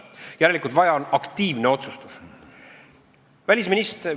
Järelikult vaja on aktiivset otsustust.